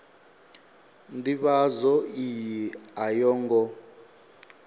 ndivhadzo iyi a yo ngo